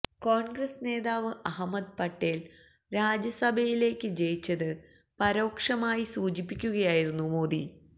കോണ്ഗ്രസ് നേതാവ് അഹമ്മദ് പട്ടേല് രാജ്യസഭയിലേക്ക് ജയിച്ചത് പരോക്ഷമായി സൂചിപ്പിക്കുകയായിരുന്നു മോദി